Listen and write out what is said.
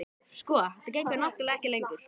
Sko. þetta gengur náttúrlega ekki lengur.